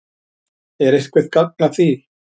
Er eitthvert gagn að því?